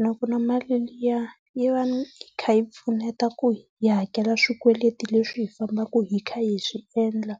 Nakona mali liya yi va yi kha yi pfuneta ku hi hakela swikweleti leswi hi fambaka hi kha hi swi endla